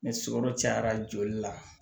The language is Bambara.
Ni sukaro cayara joli la